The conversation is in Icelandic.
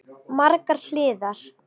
Margar hliðar.